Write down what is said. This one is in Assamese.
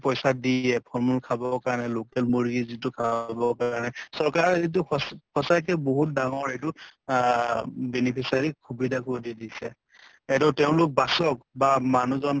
পইছা দিয়ে ফল মূল খাব কাৰণে local মূৰ্গী যিটো খাব কাৰনে চৰকাৰে সঁচা সঁচাকে বহুত ডাঙৰ এইটো আহ beneficiary ক সুবিধা কৰি দিছে। এতো তেওঁলোক বাচক বা মানুহ জন